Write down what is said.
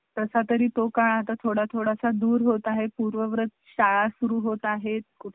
आ हो मस्तपैकी टाका आमच्या दुकानाचं नाव टाकलं ना खाली कशी आहे आमची पण जाहिरात होईल ना